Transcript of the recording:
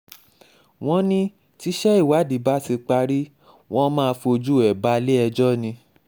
wọ́n ní tíṣẹ ìwádìí bá ti parí wọn máa fojú ẹ̀ balẹ̀-ẹjọ́ ni